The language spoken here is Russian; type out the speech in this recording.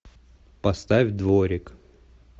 поставь дворик